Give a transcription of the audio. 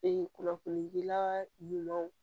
kunnafonidila ɲumanw